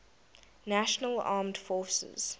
national armed forces